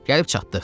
Gəlib çatdıq.